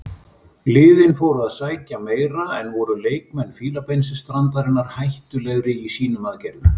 Liðin fóru að sækja meira en voru leikmenn Fílabeinsstrandarinnar hættulegri í sínum aðgerðum.